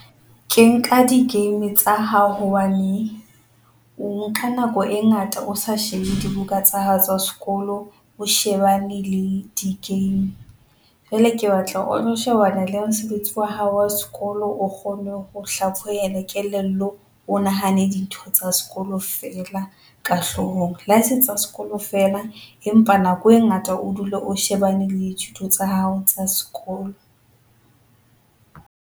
Ke nka di-game tsa hao hobane, o nka nako e ngata o sa shebe dibuka tsa hao tsa sekolo, o shebane le di-game jwale ke batla o lo shebana le mosebetsi wa hao wa sekolo. O kgone ho kelello, o nahane dintho tsa sekolo feela ka hlohong. Le ha ese tsa sekolo feela empa nako e ngata o dule o shebane le thuto tsa hao tsa sekolo.